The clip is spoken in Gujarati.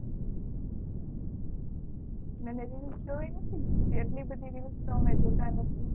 મને તો reels જોવી નથી જેટલી બધી reels તો અમે જોતાં નથી